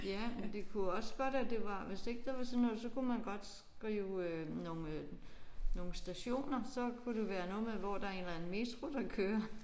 Ja men det kunne jo også godt at det var hvis ikke det var sådan noget så kunne man godt skrive øh nogle nogle stationer. Så kunne det være noget med hvor det er en eller anden metro der kører